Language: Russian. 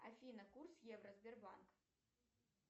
афина курс евро сбербанк